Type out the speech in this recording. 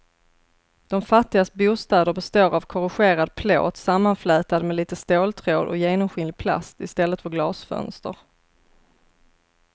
De fattigas bostäder består av korrugerad plåt sammanflätad med lite ståltråd och genomskinlig plast i stället för glasfönster.